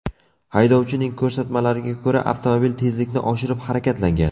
Haydovchining ko‘rsatmalariga ko‘ra, avtomobil tezlikni oshirib harakatlangan.